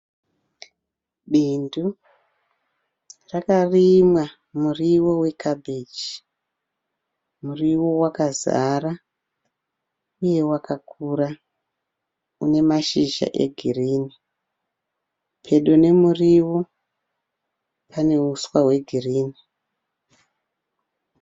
Bindu rakarimwa muriwo wekabheji. Muriwo wakazara uye wakakura. Une mazhizha egirini. Pedo nemuriwo pane uswa hwegirini.